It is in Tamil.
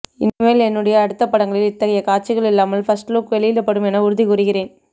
இனிமேல் என்னுடைய அடுத்த படங்களில் இத்தகைய காட்சிகள் இல்லாமல் ஃபர்ஸ்ட்லுக் வெளியிடப்படும் என உறுதி கூறுகிறேன்